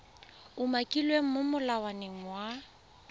umakilweng mo go molawana wa